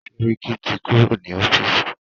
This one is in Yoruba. Sẹ́ríkí ti kúrò ní ọ́fìsì.